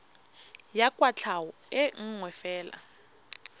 ya kwatlhao e nngwe fela